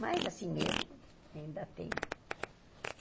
Mas, assim mesmo, ainda tem.